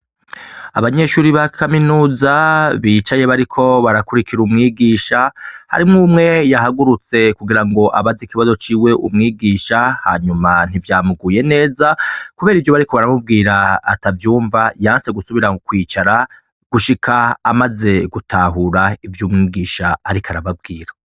Abanyeshuri ba kaminuza bicaye bariko barakurikira umwigisha harimwo umwe yahagurutse kugira ngo abaze ikibazo ciwe umwigisha hanyuma ntivyamuguye neza, kubera ivyo bari ko baramubwira atavyumva yanse gusubira mu kwicara gushika amaze gutahura ivyo umwigisha, ariko arababwira.